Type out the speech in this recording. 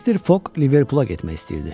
Mister Foq Liverpula getmək istəyirdi.